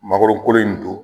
Mangoro kolo in don